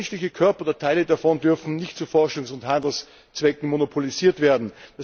Der menschliche Körper oder Teile davon dürfen nicht zu Forschungs und Handelszwecken monopolisiert werden.